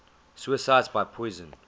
suicides by poison